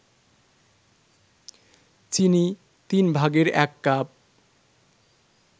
চিনি ১/৩ কাপ